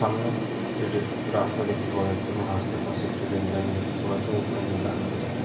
সামনে একটি রাস্তা দেখতে পাওয়া যাচ্ছে এবং রাস্তার পাশে একটি রেল লাইন দেখতে পাওয়া যাচ্ছে এবং ওপরে নীল আকাশ ও দেখা যাচ্ছে।